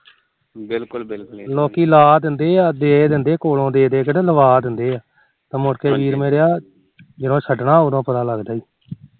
ਲੋਕੀ ਲਾ ਦਿੰਦੇ ਆ ਦੇ ਦਿੰਦੇ ਕੋਲੋ ਲਵਾ ਦਿੰਦੇ ਆ ਤੇ ਮੁੜ ਕੇ ਵੀਰ ਮੇਰਿਆ ਜਦੋਂ ਛੱਡਣਾ ਉਦੋ ਪਤਾ ਲੱਗਦਾ ਈ